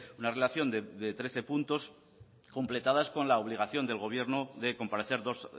una relación de trece puntos completados con la obligación del gobierno de comparecer dos